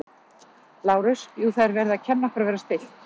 Lárus: Jú, það er verið að kenna okkur að vera stillt.